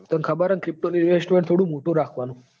તન ખબર હ ન pto નું investment થોડું મોટું રાખવાનું.